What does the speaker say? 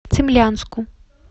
цимлянску